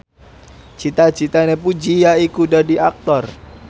cita citane Puji yaiku dadi Aktor